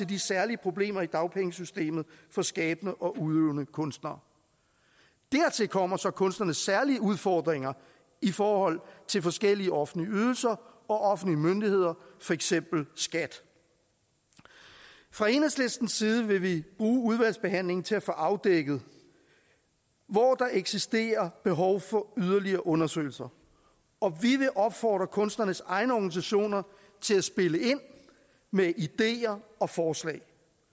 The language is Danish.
de særlige problemer i dagpengesystemet for skabende og udøvende kunstnere dertil kommer så kunstnernes særlige udfordringer i forhold til forskellige offentlige ydelser og offentlige myndigheder for eksempel skat fra enhedslistens side vil vi bruge udvalgsbehandlingen til at få afdækket hvor der eksisterer behov for yderligere undersøgelser og vi vil opfordre kunstnernes egne organisationer til at spille ind med ideer og forslag